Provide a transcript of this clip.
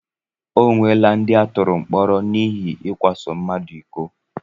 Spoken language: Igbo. O nweela ndị atụrụ mkpọrọ n'ihi ikwaso mmadụ iko.